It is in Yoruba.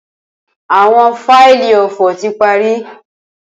Awọn faili ofo ti pari